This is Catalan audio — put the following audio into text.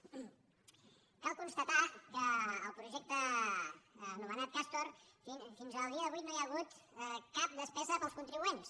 cal constatar que al projecte ano·menat castor fins al dia d’avui no hi ha hagut cap despesa per als contribuents